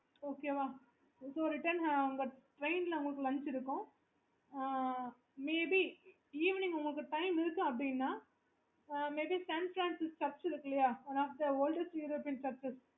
okay